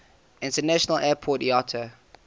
international airport iata